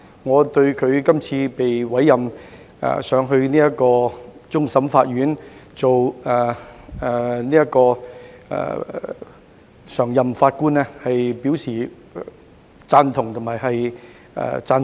我對他這次被委任為終審法院常任法官，表示贊同及讚賞。